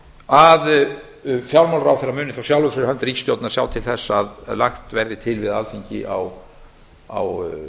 að fjármálaráðherra muni þá sjálfur fyrir hönd ríkisstjórnarinnar sjá til þess að lagt verði til við alþingi á